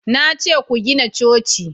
na ce ku gina coci!